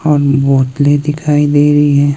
और मूर्ति दिखाई दे रही है।